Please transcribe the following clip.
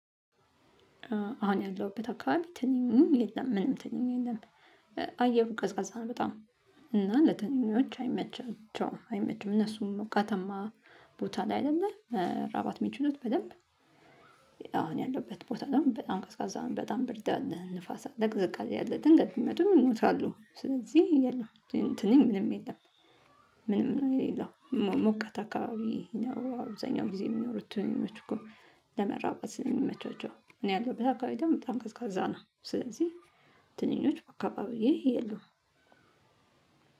አሁን ያለሁበት አካባቢ ትንኝም የለም ምንም ትንኘ የለም። አየሩ ቀዝቃዛ ነው በጣም እና ለትንኞች አይመቻቸውም እነሱም ሞቃታማ ቦታ ላይ አይደለም መራባት ሚችሉት በደንብ። አሁን ያለበት ቦታ ነው በጣም ቀዝቃዛ በጣም ብርድ ንፋሳ ለቅዝቃዜ ያለ ድንገት መድሮ ይሞታሉ ስለዚህ የለም። ትንኝ ምንም የለም። ምንም የሌለው ሞቀት አካባቢ ነው አብዛኛው ጊዜ የሚኖሩት እኮ ለመራባት ስለሚመቻቸው። እኔ ያለሁበት አካባቢ ደግሞ በጣም ቀዝቃዛ ነው። ስለዚህ ትንኞች በአካባቢዬ የለውም።